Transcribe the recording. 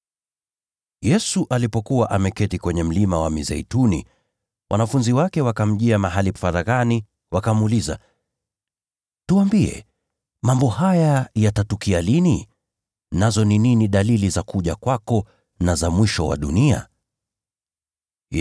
Yesu alipokuwa ameketi kwenye Mlima wa Mizeituni, wanafunzi wake wakamjia faraghani, wakamuuliza, “Tuambie, mambo haya yatatukia lini, nayo dalili ya kuja kwako na ya mwisho wa dunia ni gani?”